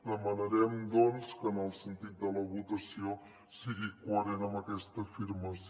demanarem doncs que en el sentit de la votació sigui coherent amb aquesta afirmació